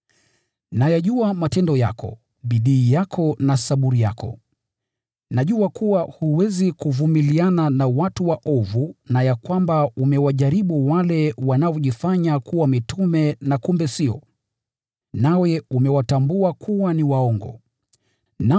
Nayajua matendo yako, bidii yako na saburi yako. Najua kuwa huwezi kuvumiliana na watu waovu na ya kwamba umewajaribu wale wanaojifanya kuwa mitume na kumbe sio, nawe umewatambua kuwa ni waongo.